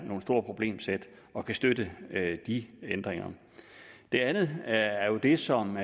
noget stort problemsæt at kunne støtte de ændringer det andet er jo det som